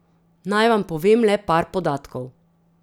Naj vam povem le par podatkov.